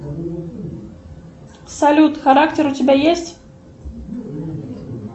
салют характер у тебя есть